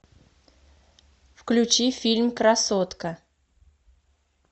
включи фильм красотка